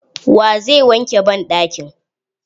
Wa zai wanke banɗakin?